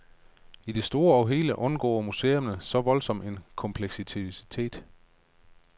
I det store og hele undgår museerne så voldsom en kompleksitet.